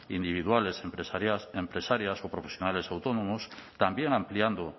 individuales empresarias o profesionales autónomos también ampliando